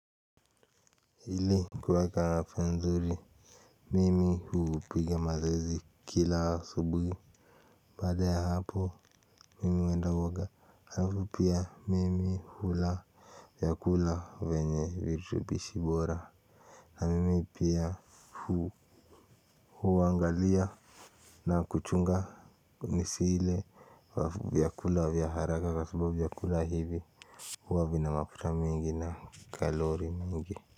Ili kuweka afya nzuri mimi hupiga mazoezi kila asubuhi. Baada ya hapo mimi huenda huoga alafu pia mimi hula. Vyakula venye virutubishi bora. Na mimi pia hu huangalia na kuchunga nisiile. Vyakula vya haraka kwa sababu vyakula hivi huwa vina mafuta mingi na kalori mingi.